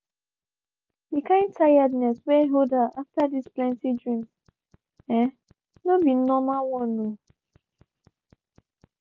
the kind tiredness were hold her after those plenty dreams um no be normlal one o.